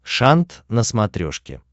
шант на смотрешке